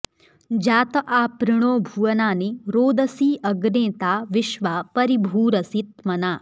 जा॒त आपृ॑णो॒ भुव॑नानि॒ रोद॑सी॒ अग्ने॒ ता विश्वा॑ परि॒भूर॑सि॒ त्मना॑